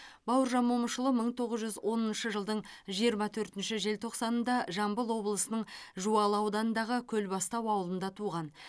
бауыржан момышұлы мың тоғыз жүз оныншы жылдың жиырма төртінші желтоқсанында жамбыл облысының жуалы ауданындағы көлбастау ауылында туған